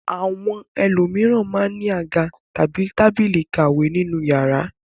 Àwọn ẹlòmíràn máa ń ní àga àti tábìlì ìkàwé nínú ìyàrá.